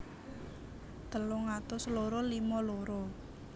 telung atus loro limo loro